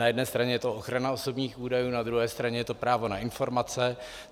Na jedné straně je to ochrana osobních údajů, na druhé straně je to právo na informace.